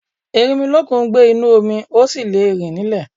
Erinmilọ́kun ń gbé inú omi, ó sì le rìn nílè.